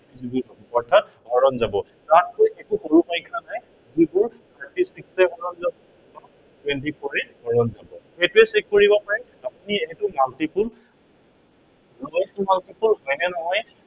অৰ্থাত হৰণ যাব। তাতকৈ কিন্তু সৰু সংখ্য়া নাই, যিটো thirty six ৰে হৰণ যাব twenty four এ হৰণ যাব। সেইটোৱেই check কৰিব পাৰে। আপুনি সেইটো multiple multiple হয় নে নহয়